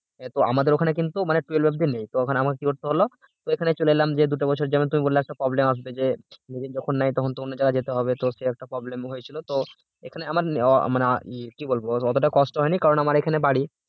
তো আমাদের ওখানে কিন্তু twelve অব্দি নেই তো আমাকে কি করতে হল এখানে চলে এলাম যে দুটো পয়সার জন্য তুমি বললা যে একটা যে নিজের যখন নাই তখন তো অন্য জায়গায় যেতে হবে তো তখন কি একটা problem হয়েছিল তো এখানে আমার মানে কি বলবো মানে অতটা কষ্ট হয়নি কারণ আমার এখানে বাড়ি